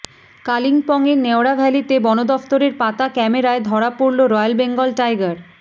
কালিম্পংয়ের নেওড়াভ্যালিতে বনদফতরের পাতা ক্যামেরায় ধরা পড়ল রয়্যাল বেঙ্গল টাইগার